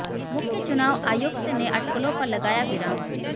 मुख्य चुनाव आयुक्त ने अटकलों पर लगाया विराम